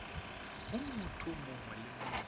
go motho mongwe le mongwe